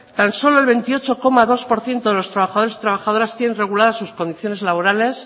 tan solo el veintiocho coma dos por ciento de los trabajadores y trabajadoras tienen reguladas sus condiciones laborales